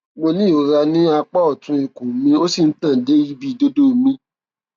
mo ní ìrora ní apá ọtún ikùn mi ó sì ń tàn dé ibi ìdodo mi